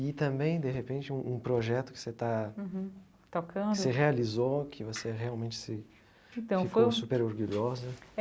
E também, de repente, um um projeto que você está... Que você realizou, que você realmente se ficou super orgulhosa.